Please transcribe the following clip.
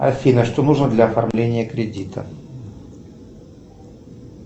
афина что нужно для оформления кредита